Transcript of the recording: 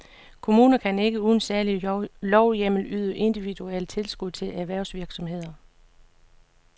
Kommuner kan ikke uden særlig lovhjemmel yde individuelle tilskud til erhvervsvirksomheder.